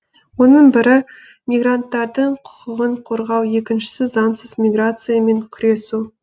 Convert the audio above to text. оның бірі мигранттардың құқығын қорғау екіншісі заңсыз миграциямен күресу